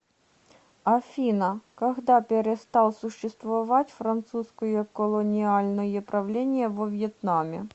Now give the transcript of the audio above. афина когда перестал существовать французское колониальное правление во вьетнаме